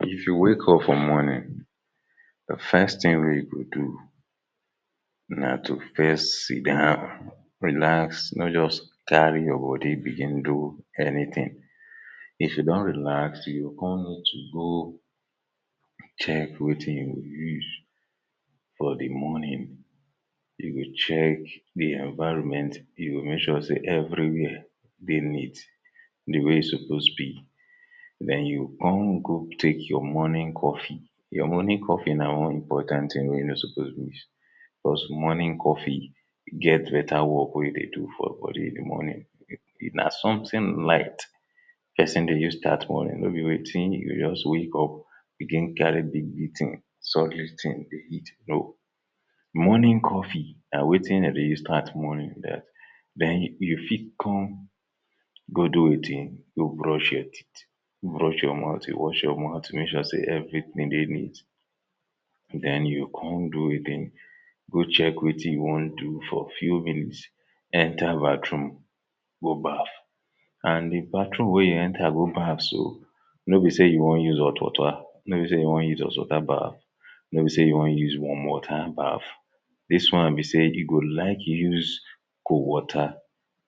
If you wake up for morning di first tin wey you go do na to first sidon relax no just carry your bodi begin do anytin if you don relax you go come need to go check wetin you go use for di morning you go check di environment you go make sure say evri wia dey neat di way e suppose be den you go come go take your morning coffee your morning coffee na one important tin wey you no suppose miss cos morning coffee get betta work wey e dey do for your body in the morning na sometin light pesin dey use start morning, nobi wetin you go just wake up begin carry big big tins, solid tin dey eat, no! morning coffee, na wetin dem dey use start morning den you fit come, go do wetin go brush your teeth brush your mouth, wash your mouth, make sure say evritin dey neat. den you go come do wetin go check wetin you wan do for few minutes enter bathroom go baff and di bathroom wey you enter go baff so no bi say you wan use hot water no bi say you wan use hot water baff nobi say you wan use warm water baff dis one be say you go like use cold water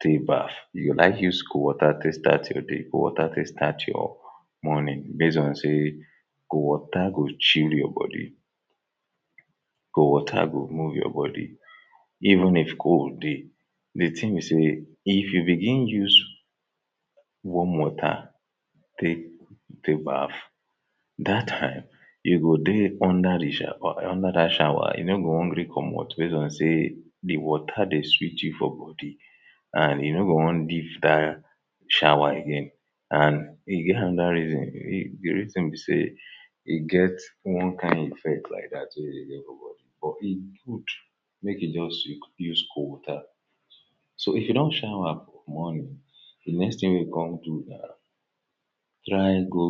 take baff you go like use cold water take start your day, cold water to start morning base on say cold water go chill your body cold water go move your body even if cold dey di tin be say if you begin use warm water take take baff dat time you go dey under dat shawa you no go wan gree comot base on say di water dey sweet you for body and you no go wan leave dat shawa again and e get anoda reason. di reason be say e get one kain effect like dat wey you dey get but e good make you just use use cold water. so, if you don shawa morning di next tin wey you go come do try go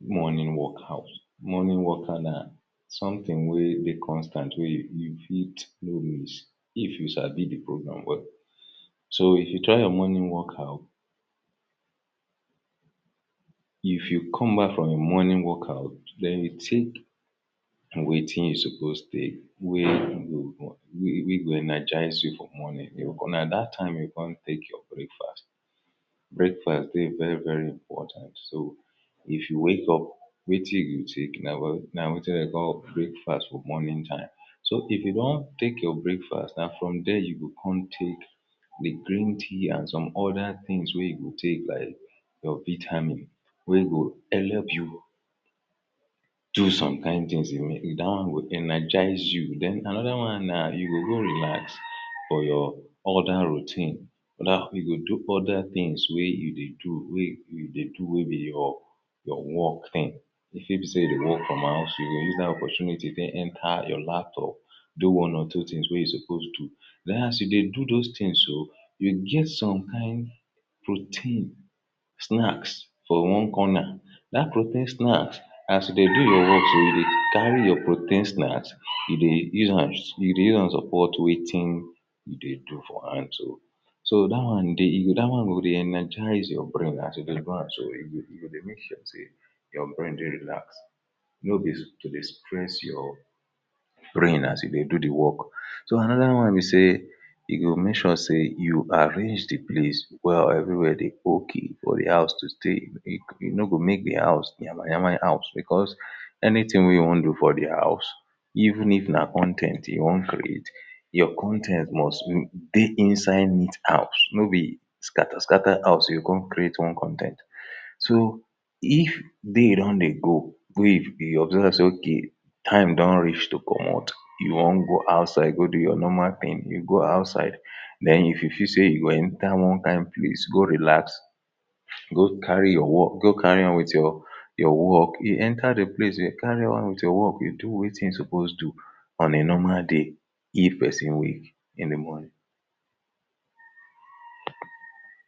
morning workout morning workout na na sometin wey dey constant wey you fit no miss if you sabi the programme well So, if you try your morning workout if you come back from your morning workout den you take wetin you supposed take wey go wey go energize your morning bicos na that time you go come take your breakfast breakfast dey very very important. So, if you wake up wetin you go take na wetin dem dey call breakfast for morning time so, if you don take your breakfast, na from there you go come take di green tea and some oda tins wey you go take like your vitamin wey go help you do some kain tins, dat one go energize you. Den anoda na, you go go relax for your oda routine you go do oda tins wey you dey do wey you dey do wey be your your work tin. e fit be say you dey work from house you go use dat opportunity take enter your laptop do one or two tins wey you supposed do. Den as you dey do those tins so you get some kain protein, snacks for one corner dat protein snacks, as you dey do your work so, you dey carry your protein snacks you dey use you dey use am support wetin you dey do for hand so so, dat one dey, dat one go dey energize your brain as you dey do am so e go e dey make sure say your brain dey relax no bi to dey stress your brain as you dey do di work so another one be sey yo go make sure say you arrange di place well evri wia dey ok for di house to stay you no go make di house nyama nyama house bicos anytin wey you wan do for di house even if na con ten t you wan create your con ten t must dey inside neat house, nobi skata-skata house you go come create one con ten t. So, if day don dey go wey you observe say okay time don reach to comot you wan go outside go do your normal tin, you go outside den if you feel say you go enter one kain place go relax go carry your work, go carry am wit your your work, you enter di place you carry on wit your work you do wetin you suppose do on a normal day if person wake in di morning.